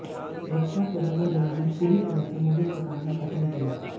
रक्षा सौदों में दलाली पूरी तरह से मोदी सरकार ने खत्म की है